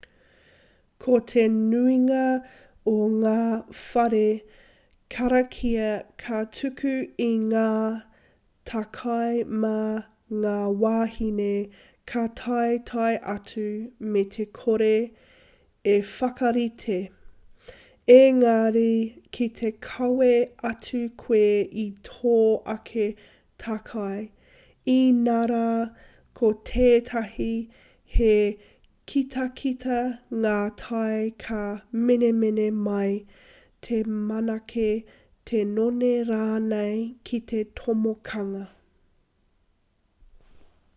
ko te nuinga o ngā whare karakia ka tuku i ngā takai mā ngā wāhine ka taetae atu me te kore i whakarite engari ki te kawe atu koe i tō ake takai inarā ko tētahi he kitakita ngā tae ka menemene mai te manake te none rānei ki te tomokanga